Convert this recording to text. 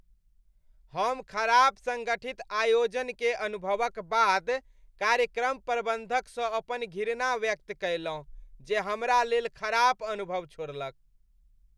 हम खराप सङ्गठित आयोजन के अनुभवक बाद कार्यक्रम प्रबंधकसँ अपन घिरणा व्यक्त कयलहुँ जे हमरा लेल खराप अनुभव छोड़लक।